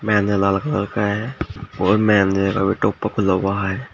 महिंद्रा लाल कलर का है और महेंद्रे का भी टोप्पा खुला हुआ है।